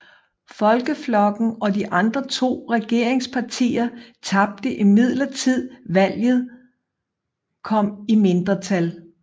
Folkeflokken og de andre to regeringspartier tabte imidlertid valget kom i mindretal